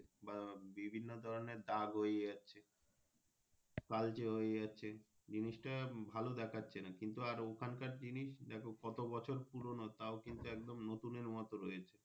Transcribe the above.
বা বিভিন্ন ধরণের দাগ হয়েযাচ্ছে কালচে হয়েযাচ্ছে জিনিস টা ভালো দেখাচ্ছে না কিন্তু আর ওখানকার জিনিস দ্যাখো কত বছর পুরোনো তাও কিন্তু একদম নতুনের মতো রয়েছে।